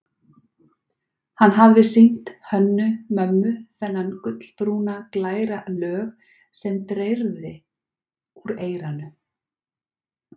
Hann hafði sýnt Hönnu-Mömmu þennan gulbrúna, glæra lög sem dreyrði úr eyranu.